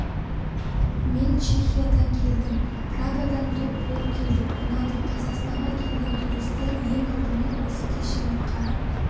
мен чехиядан келдім прагадан топ болып келдік ұнады қазақстанға келген туристер ең алдымен осы кешенді қарап